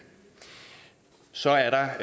så er der